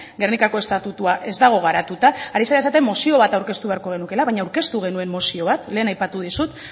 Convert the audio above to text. gernikako estatutua ez dago garatuta hasi zara esaten mozio bat aurkeztu beharko genuela baina aurkeztu genuen mozio bat lehen aipatu dizut